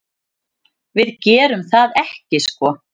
Við gerum það ekki sko.